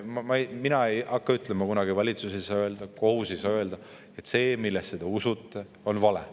– mina ei hakka kunagi seda ütlema, valitsus ei saa öelda, kohus ei saa öelda –, on vale.